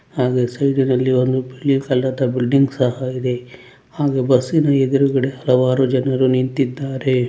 ಹಾಗೆ ಸೈಡ್ ನಲ್ಲಿ ಒಂದು ಬಿಳಿ ಕಲರ್ ಬಿಲ್ಡಿಂಗ್ ಸಹ ಇದೆ ಹಾಗೆ ಬಸ್ಸಿನ ಎದುರುಗಡೆ ಹಲವಾರು ಜನರು ನಿಂತ್ತಿದ್ದಾರೆ.